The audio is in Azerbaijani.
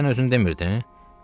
Dünən sən özün demirdin?